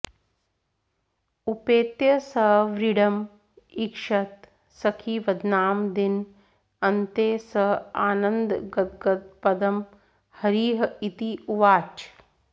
उपेत्य स व्रीडम् ईक्षत सखी वदनाम् दिन अन्ते स आनन्द गद्गद पदम् हरिः इति उवाच